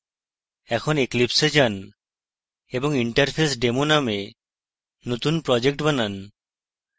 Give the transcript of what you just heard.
এখন eclipse a যান এবং interfacedemo নামে নতুন project বানান